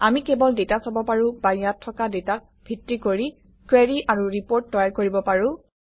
আমি কেৱল ডাটা চাব পাৰোঁ বা ইয়াত থকা ডাটাক ভিত্তি কৰি কুৱেৰি আৰু ৰিপৰ্ট তৈয়াৰ কৰিব পাৰোঁ